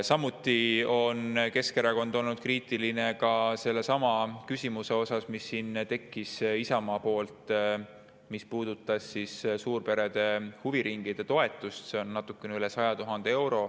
Samuti on Keskerakond olnud kriitiline sellesama, Isamaa tõstatatud küsimuse suhtes, mis puudutas suurperede huviringide toetust, see on natuke üle 100 000 euro.